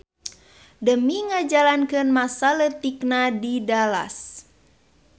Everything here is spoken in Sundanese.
Demi ngajalakeun masa leutikna di Dallas.